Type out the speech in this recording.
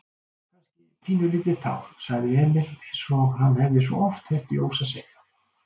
Kannski pínulítið tár, sagði Emil einsog hann hafði svo oft heyrt Jósa segja.